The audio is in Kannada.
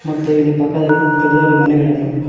ಮತ್ತು ಇಲ್ಲಿ ಪಕ್ಕದಲ್ಲಿ ದೊಡ್ಡ ದೊಡ್ಡ ಮನೆಗಳನ್ನು--